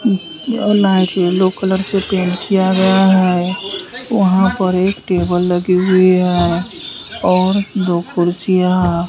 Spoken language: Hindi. और लाइट येलो कलर से पेंट किया गया है। वहां पर एक टेबल लगी हुई है और दो कुर्सियां है।